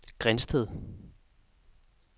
Grindsted